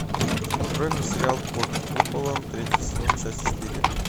открой мне сериал под куполом третий сезон часть четыре